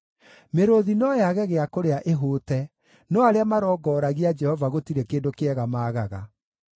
Mĩrũũthi no yage gĩa kũrĩa ĩhũte, no arĩa marongoragia Jehova gũtirĩ kĩndũ kĩega maagaga.